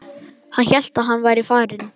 Hann sem hélt að hann væri farinn!